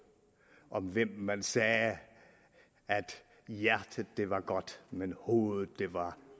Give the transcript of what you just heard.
om hvem man sagde at hjertet var godt men hovedet var